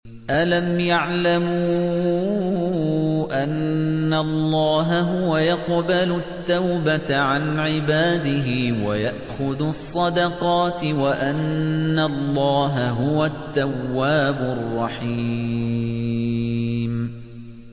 أَلَمْ يَعْلَمُوا أَنَّ اللَّهَ هُوَ يَقْبَلُ التَّوْبَةَ عَنْ عِبَادِهِ وَيَأْخُذُ الصَّدَقَاتِ وَأَنَّ اللَّهَ هُوَ التَّوَّابُ الرَّحِيمُ